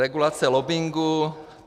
Regulace lobbingu.